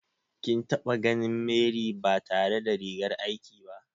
Kin taɓa ganin Mary ba tare da rigar aikin ta ba?